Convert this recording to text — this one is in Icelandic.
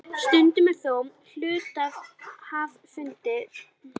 Stundum er þó hluthafafundi skylt að ákveða félagsslit.